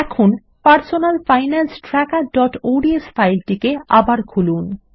এখন personal finance trackerঅডস ফাইলটিকে আবার খুলুন